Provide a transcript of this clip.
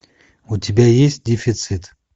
у тебя есть дефицит